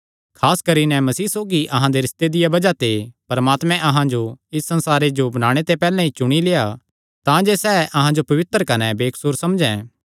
खास करी नैं मसीह सौगी अहां दे रिस्ते दिया बज़ाह ते परमात्मे अहां जो इस संसारे जो बणाणे ते पैहल्ले चुणी लेआ तांजे सैह़ अहां जो पवित्र कने बेकसूर समझैं